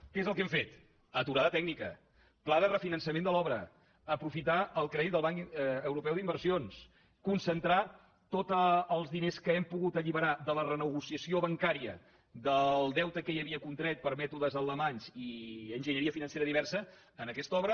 què és el que hem fet aturada tècnica pla de refinançament de l’obra aprofitar el crèdit del banc europeu d’inversions concentrar tots els diners que hem pogut alliberar de la renegociació bancària del deute que hi havia contret per mètodes alemanys i enginyeria financera diversa en aquesta obra